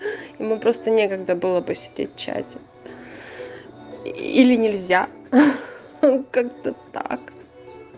ему просто некогда было посидеть в чате или нельзя ха-ха как-то так